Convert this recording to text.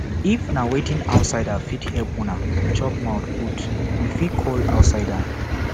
if na wetin outsider fit help una chook mouth put you fit call outsider